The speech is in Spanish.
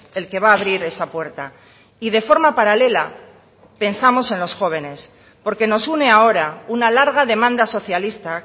el que va a abrir esa puerta y de forma paralela pensamos en los jóvenes porque nos une ahora una larga demanda socialista